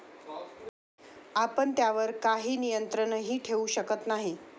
आपण त्यावर काही नियंत्रणही ठेवू शकत नाही.